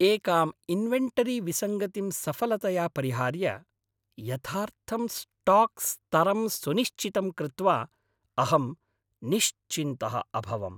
एकां इन्वेन्टरीविसङ्गतिं सफलतया परिहार्य, यथार्थं स्टाक् स्तरं सुनिश्चितं कृत्वा अहं निश्चिन्तः अभवम्।